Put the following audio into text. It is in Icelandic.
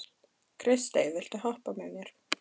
Kristey, viltu hoppa með mér?